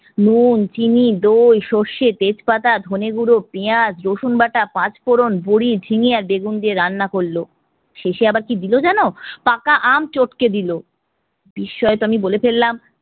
নুন, চিনি, দই, সর্ষে, তেজপাতা, ধনে গুঁড়ো, পেঁয়াজ, রসুনবাটা, পাঁচফোড়ণ, বড়ি, ঝিঙ্গে আর বেগুন দিয়ে রান্না করলো। শেষে আবার কি দিলো জানো? পাকা আম চটকে দিলো। বিস্ময়ে তো আমি বলে ফেললাম